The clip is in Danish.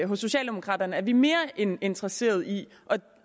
hos socialdemokraterne er vi mere end interesserede i at